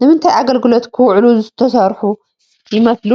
ንምንታይ ኣገልግሎት ክውዕሉ ዝተሰርሑ ይመስሉ?